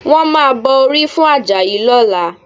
Wọ́n máa bọ orí fún Àjàyí lọ́la